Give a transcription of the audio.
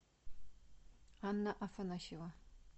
анна афанасьева